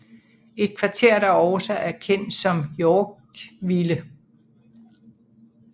Et kvarter der også er kendt som Yorkville